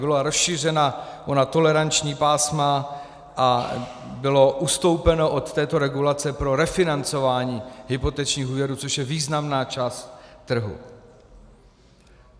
Byla rozšířena ona toleranční pásma a bylo ustoupeno od této regulace pro refinancování hypotečních úvěrů, což je významná část trhu.